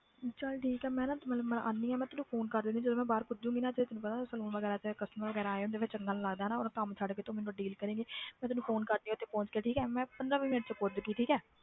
ਚੱਲ ਠੀਕ ਹੈ ਮੈਂ ਨਾ ਮਤਲਬ ਆਉਂਦੀ ਹਾਂ ਮੈਂ ਤੈਨੂੰ phone ਕਰ ਦਿੰਦੀ ਜਦੋਂ ਮੈਂ ਬਾਹਰ ਪਹੁੰਚਾਗੀ ਨਾ ਤੇ ਤੈਨੂੰ saloon ਵਗ਼ੈਰਾ 'ਚ customer ਵਗ਼ੈਰਾ ਆਏ ਹੁੰਦੇ ਆ ਫਿਰ ਚੰਗਾ ਨੀ ਲੱਗਦਾ ਨਾ ਉਦੋਂ ਕੰਮ ਛੱਡ ਕੇ ਤੂੰ ਮੈਨੂੰ deal ਕਰੇਂਗੀ ਮੈਂ ਤੈਨੂੰ phone ਕਰਦੀ ਹਾਂ ਤੇ ਉੱਥੇ ਪਹੁੰਚ ਕੇ ਠੀਕ ਹੈ ਮੈਂ ਪੰਦਰਾਂ ਵੀਹ ਮਿੰਟ 'ਚ ਪਹੁੰਚ ਗਈ ਠੀਕ ਹੈ